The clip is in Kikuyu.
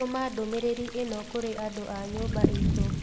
tũma ndũmĩrĩri ĩno kũrĩ andũ a nyũmba itũ.